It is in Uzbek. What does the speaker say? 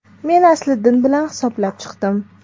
Men Asliddin bilan hisoblab chiqdim.